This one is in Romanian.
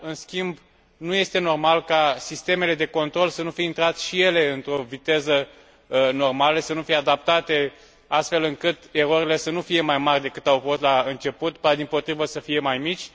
în schimb, nu este normal ca sistemele de control să nu fi intrat și ele într o viteză normală și să nu fie adaptate, astfel încât erorile să nu fie mai mari decât au fost la început, ba dimpotrivă, să fie mai mici.